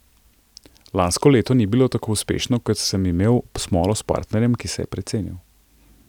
Lansko leto ni bilo tako uspešno, ker sem imel smolo s partnerjem, ki se je precenil.